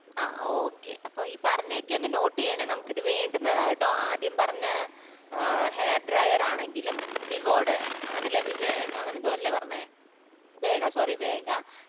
ആഹ് okay അപ്പൊ ഈ പറഞ്ഞയൊക്കെ ഒന്ന് note ചെയ്യണേ നമുക്ക്‌ ഇതു വേണ്ടുന്നതാ കേട്ടോ ആദ്യം പറഞ്ഞ ഏർ hair drawer ആണെങ്കിലും വിവോടെ അങ്ങനല്ലേ വിവേ അങ്ങനെന്തോ അല്ലേ പറഞ്ഞേ വേഗ sorry വേഗ